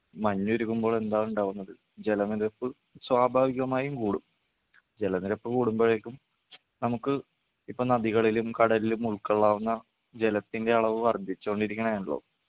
മഞ്ഞുരുകുമ്പോൾ എന്താണ് ഉണ്ടാവുന്നത് ജലനിരപ്പ് സ്വാഭാവികമായും കൂടും. ജലനിരപ്പ് കൂടുമ്പോഴേക്കും നമുക്ക് ഇപ്പോ നദികളിലും കടലിലും ഉൾക്കൊള്ളാവുന്ന ജലത്തിൻ്റെ അളവ് വർധിച്ചുകൊണ്ടിരിക്കണെയാണല്ലോ